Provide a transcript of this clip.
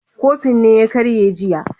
Kofin ne ya karye jiya